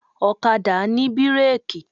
Ọ̀kadà ní bírèkì.